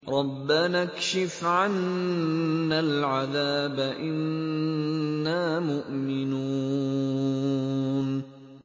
رَّبَّنَا اكْشِفْ عَنَّا الْعَذَابَ إِنَّا مُؤْمِنُونَ